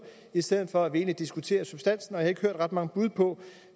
i stedet for at vi diskuterer substansen og jeg har ikke hørt ret mange bud på